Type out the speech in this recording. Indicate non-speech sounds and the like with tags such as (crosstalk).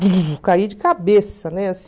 (unintelligible) caí de cabeça, né?